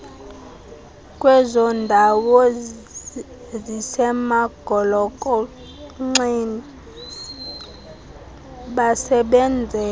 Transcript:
kwezondawo zisemagolokonxeni basebenzela